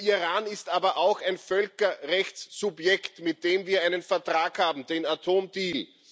Der Iran ist aber auch ein Völkerrechtssubjekt, mit dem wir einen Vertrag haben, den Atom Deal.